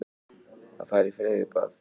Að fara í freyðibað.